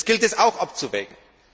Das gilt es auch abzuwägen.